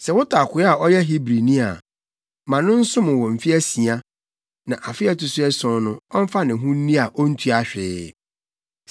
“Sɛ wotɔ akoa a ɔyɛ Hebrini a, ma no nsom wo mfe asia, na afe a ɛto so ason no, ɔmfa ne ho nni a ontua hwee.